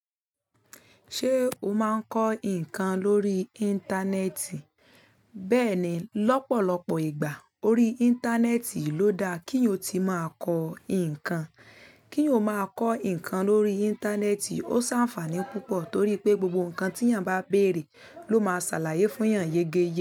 Ṣé o máa ń kọ́ nǹkan lórí Íńtánẹ́ẹ̀tì? Bẹ́ẹ̀ni, lọ́pọ̀lọpọ̀ ìgbà, orí Íńtánẹ́ẹ̀tì ló da kí o ti máa kọ́ nǹkan. Kí o máa kọ́ nǹkan lórí Íńtánẹ́ẹ̀tì ó ṣàfàní púpọ̀ torí pé gbogbo nǹkan tí ènìyàn bá bèrè ló máa ṣàlàyé fún ènìyàn yege ye.